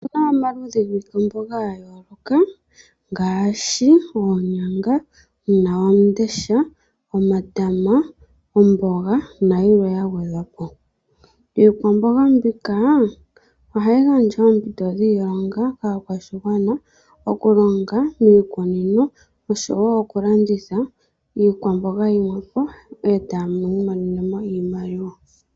Otuna omaludhi giikwamboga ga yooloka ngaashi oonyanga, uunawandesha, omatama, omboga nayilwe ya gwedhwa po. Iikwamboga mbika ohayi gandja oompito dhiilonga kaakwashigwana oku longa miikunino oshowo oku landitha iikwamboga yimwe po etaya imonene mo iimaliwa.